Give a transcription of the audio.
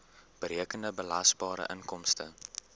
berekende belasbare inkomste